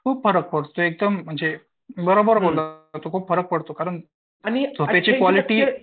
खूप फरक पडतो म्हणजे, बरोबर बोलला तू खूप फरक पडतो कारण झोपेची क्वालिटी